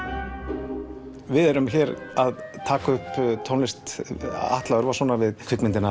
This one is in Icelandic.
við erum hér að taka upp tónlist Atla Örvarssonar við kvikmyndina